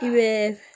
I bɛ